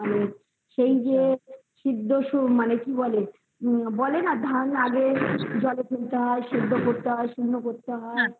সেটাই সিদ্ধ সাধ কি বলে বলে না ধান আগে জলে ফেলতে হয় সিদ্ধ করতে হয়